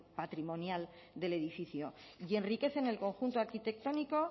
patrimonial del edificio y enriquecen el conjunto arquitectónico